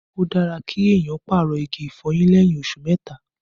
Ó dára kí èèyàn pàrọ̀ igi ìfọyín lẹ́yìn oṣù mẹ́ta